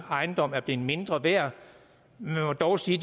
ejendom er blevet mindre værd man må dog sige